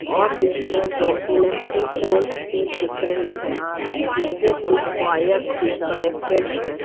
और इसमें दो इलेक्ट्रिक पोल्स भी दिख रही है जिससे कुछ वायर्स भी कनेक्टेड हैं।